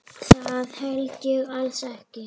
Það held ég alls ekki.